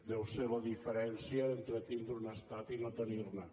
deu ser la diferència entre tindre un estat i no tenir ne